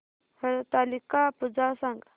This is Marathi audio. हरतालिका पूजा सांग